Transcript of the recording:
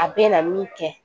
A bɛ na min kɛ